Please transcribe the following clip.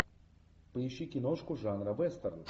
поищи киношку жанра вестерн